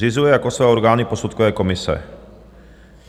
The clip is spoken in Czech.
Zřizuje jako své orgány posudkové komise.